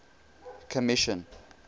commission